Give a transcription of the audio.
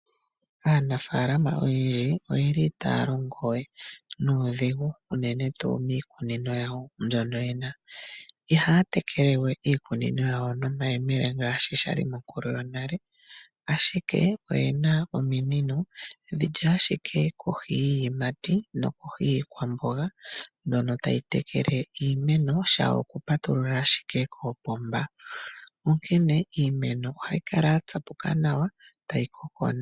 Aanafaalama oyendji ita ya longo we nuudhiginini uenene tuu miikunino ya wo mbyono yena, iha ya tekele we no mayemele ngaashi sha li monkulu yonale, ashike oye na ominino, dhili kohi yiiyimati no ko hi yiikwamboga, dho ta dhi tekele iimeno, sha wo oku pa tu lula ashike kopomba, onkene iimeno oha yi kala yatsapuka nawa, ta yi koko nawa.